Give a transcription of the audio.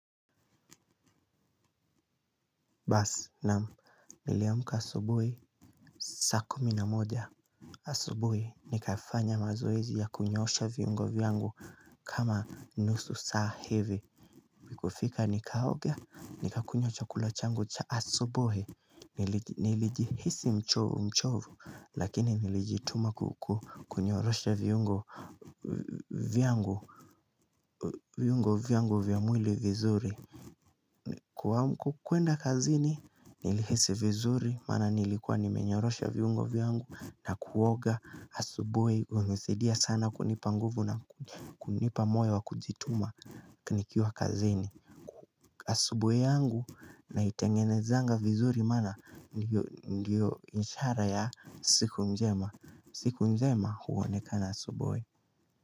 Basi naam niliamuka asubui saa kumi na moja asubui nikafanya mazoezi ya kunyosha viungo vyangu kama nusu saa hivi. Kufika nikaoga nikakula chakula changu cha asubuhi. Nilijihisi mchovu mchovu lakini nilijituma kukunyorosha viungo viungo vyangu vyamwili vizuri. Kwa kuenda kazini nilihisi vizuri maana nilikuwa nimenyorosha viungo vyangu na kuoga asubui hunisaidia sana kunipa nguvu na kunipa moyo wa kujituma ni kiwa kazini. Asubuieyangu na itengenezanga vizuri maana ndio inshara ya siku njema. Siku njema huonekana asubui.